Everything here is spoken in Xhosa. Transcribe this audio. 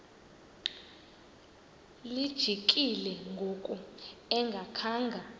lijikile ngoku engakhanga